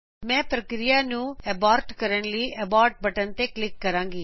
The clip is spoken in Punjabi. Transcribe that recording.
ਮੈਂ ਪ੍ਰਕਿਰੀਆ ਨੂੰ ਅਬਾਰਟ ਕਰਣ ਲਈ ਅਬੋਰਟ ਬਟਨ ਤੇ ਕਲਿਕ ਕਰੂੰਗੀ